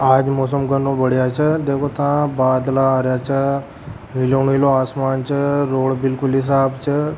आज मौसम घनो बढ़िया छे देखो बादला आरा छे नीलो नीला आसमान छ रोड बिलकुल ही साफ़ छ।